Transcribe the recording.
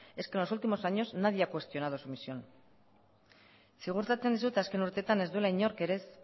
es que en los últimos años nadie ha cuestionado su emisión ziurtatzen dizut azken urteetan ez duela inork ere ez